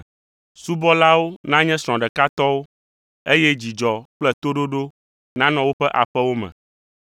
Subɔlawo nanye srɔ̃ ɖeka tɔwo, eye dzidzɔ kple toɖoɖo nanɔ woƒe aƒewo me.